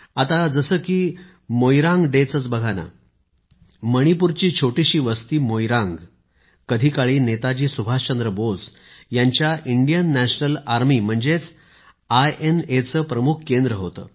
आता जसे की मोईरांग डे चेच बघा ना माणिपूरची छोटीशी वस्ती मोईरांग कधीकाळी नेताजी सुभाषचंद्र बोस यांच्या भारतीय राष्ट्रीय लष्कर म्हणजे आयएनएचे प्रमुख केंद्र होते